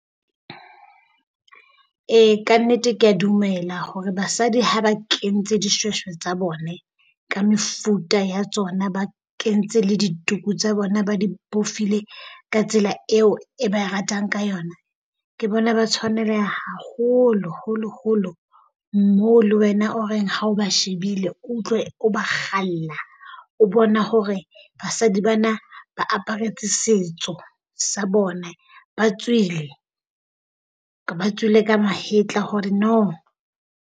Ee kannete kea dumela hore basadi ha ba kentse dishweshwe tsa bone ka mefuta ya tsona ba kentse le dituku tsa bona ba di bofile ka tsela eo e ba e ratang ka yona, ke bona ba tshwaneleha haholo holo holo. Moo le wena o reng ha o ba shebile o utlwe o ba kgalla o bona hore basadi bana ba aparetse setso sa bone ba tswile ka ba tswile ka mahetla hore no.